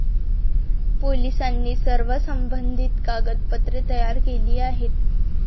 पोलिसांनी सर्व संबंधित कागदपत्रे तयार केली आहेत.